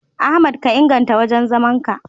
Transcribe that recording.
Ahmad ka inganta wajen zaman ka.